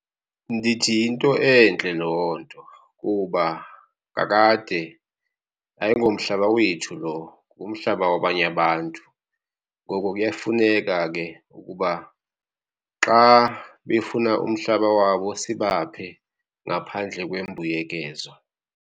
Ndithi yinto entle loo nto kuba kakade ayingomhlaba wethu lo ngumhlaba wabanye abantu. Ngoko kuyafuneka ke ukuba xa befuna umhlaba wabo sibaphe ngaphandle kwembuyekezo.